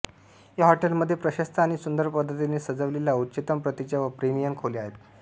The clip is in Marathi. या हॉटेल मध्ये प्रशस्त आणि सुंदर पद्धतीने सजविलेल्या उच्चतम प्रतीच्या व प्रीमियम खोल्या आहेत